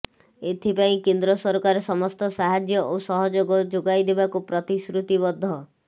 ଏଥି ପାଇଁ କେନ୍ଦ୍ର ସରକାର ସମସ୍ତ ସାହାଯ୍ୟ ଓ ସହଯୋଗ ଯୋଗାଇ ଦେବାକୁ ପ୍ରତିଶ୍ରୁତିବଦ୍ଧ